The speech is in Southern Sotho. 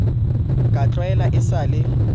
ka tlwaelo e sa le